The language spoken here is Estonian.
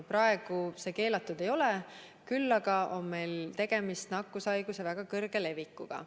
Praegu see keelatud ei ole, küll aga on meil tegemist nakkushaiguse väga kõrge levikuga.